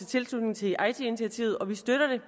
tilslutning til eiti initiativet og vi støtter det